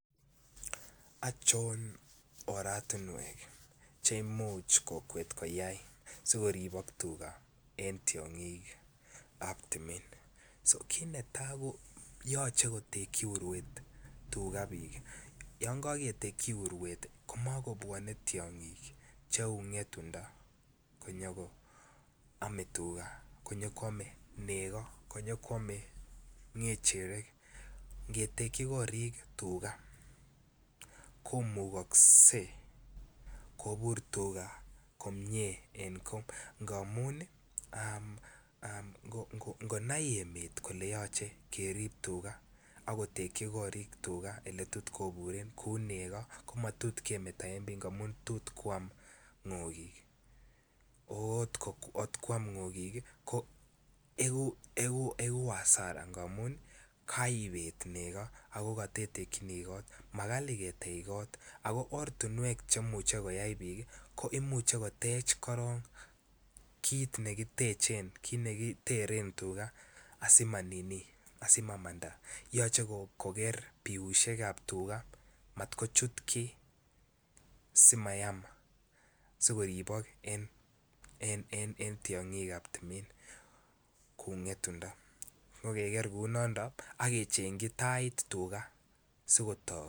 Ochon oratinwek Che Imuch kokwet koyai si koribok en tiongik ab timin kit netai ko yoche kotekyi uruet tugaa bik komakobwone tiongik cheu ngetundo konyo koame tuga konyo koame. Nego konyo koame kechirek ngetekyi korik tuga komukoksei kobur komie tuga en goo ngamun ii ngonai emet kole yoche kerib tuga ak kotekyi korik tuga oletot koburen kou nego komatot kemeto en Bii amun tot koam ngokik angot koam ngokik koegu hasara angamun koribet nego ago kotetekyini kot nyolu mo kali ketech kot ortinwek Che imuche koyai bik ko imuche kotech korok kiteren tuga asimamanda yoche koker Biik biusiek ab tugaa mat kochut kii si koribok en tiongik ab timin kou ngetundo Ke ker kou noto ak kechengchi Tait tuga si kotok